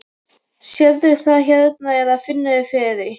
Sérðu það hérna eða finnurðu fyrir því?